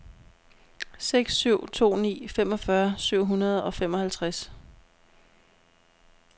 seks syv to ni femogfyrre syv hundrede og femoghalvtreds